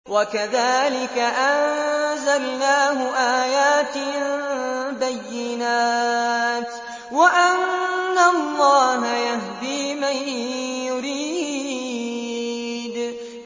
وَكَذَٰلِكَ أَنزَلْنَاهُ آيَاتٍ بَيِّنَاتٍ وَأَنَّ اللَّهَ يَهْدِي مَن يُرِيدُ